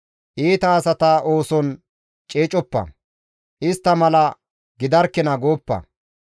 Iita asata ooson ceecoppa; istta mala gidarkina gooppa.